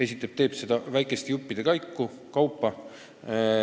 Esiteks, ta teeb seda väikeste juppide kaupa.